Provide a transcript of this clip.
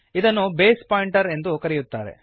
ಇದನ್ನು base pointer ಎಂದು ಕರೆಯುತ್ತಾರೆ